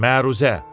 Məruzə.